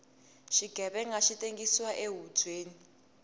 xighevenga xi tengsiwa ehubyeni